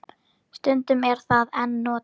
Stundum er það enn notað.